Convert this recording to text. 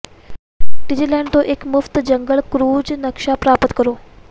ਡੀਜ਼ਲੈੰਡ ਤੋਂ ਇੱਕ ਮੁਫਤ ਜੰਗਲ ਕ੍ਰੂਜ ਨਕਸ਼ਾ ਪ੍ਰਾਪਤ ਕਰੋ